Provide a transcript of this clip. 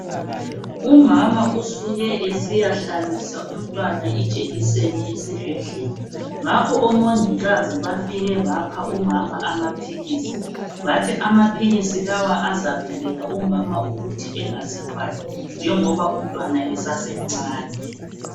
Umama usuke esiyahlabisa umntwana ijekiseni ngakho umongikazi ufike wanika umama amaphilisi bathi amaphilisi lawa azafilela umama ukuthi angazithwali njoba umntwana usamncane .